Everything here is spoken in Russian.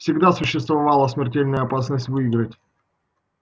всегда существовала смертельная опасность выиграть